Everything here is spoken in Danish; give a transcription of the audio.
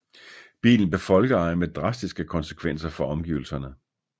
Bilen blev folkeeje med drastiske konsekvenser for omgivelserne